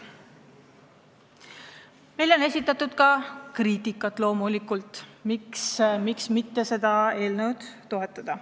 Loomulikult oleme kuulnud ka kriitikat ja kinnitusi, et seda eelnõu ei saa toetada.